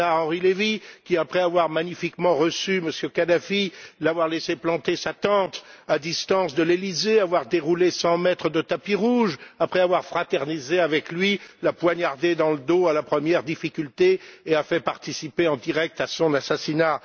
Bernard Henri Lévy, qui, après avoir magnifiquement reçu M. Kadhafi, l'avoir laissé planter sa tente à distance de l'Élysée, avoir déroulé 100 mètres de tapis rouge, après avoir fraternisé avec lui, l'a poignardé dans le dos à la première difficulté et a fait participer en direct à son assassinat.